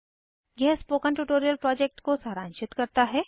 यह spoken tutorial project को सारांशित करता है